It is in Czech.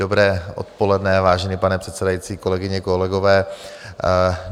Dobré odpoledne, vážený pane předsedající, kolegyně, kolegové.